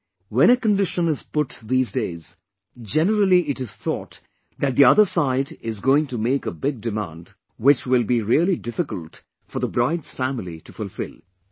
And, when a condition is put these days, generally it is thought that the other side is going to make a big demand which will be really difficult for the bride's family to fulfill